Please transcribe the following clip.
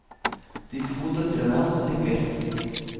De to døtrene hans nikker.